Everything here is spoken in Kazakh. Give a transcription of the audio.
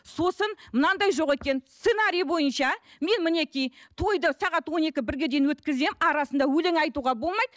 сосын мынандай жоқ екен сценарий бойынша мен мінекей тойды сағат он екі бірге дейін өткіземін арасында өлең айтуға болмайды